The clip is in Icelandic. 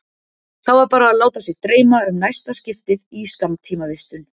Þá var bara að láta sig dreyma um næsta skiptið í skammtímavistun.